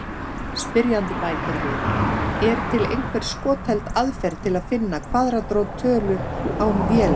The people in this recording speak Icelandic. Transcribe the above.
Spyrjandi bætir við: Er til einhver skotheld aðferð til að finna kvaðratrót tölu án vélar?